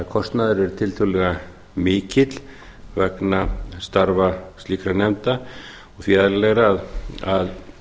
er tiltölulega mikill vegna starfa slíkra nefnda og því eðlilegra að